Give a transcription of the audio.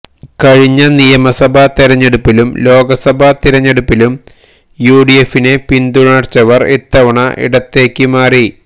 കഴിഞ്ഞ നിയമസഭാ തിരഞ്ഞെടുപ്പിലും ലോക്സഭാ തിരഞ്ഞെടുപ്പിലും യു ഡി എഫിനെ പിന്തുണച്ചവര് ഇത്തവണ ഇടത്തേക്ക് മാറി